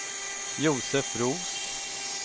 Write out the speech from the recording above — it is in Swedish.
Josef Roos